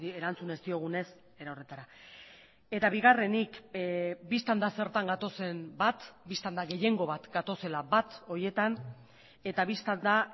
erantzun ez diogunez era horretara eta bigarrenik bistan da zertan gatozen bat bistan da gehiengo bat gatozela bat horietan eta bistan da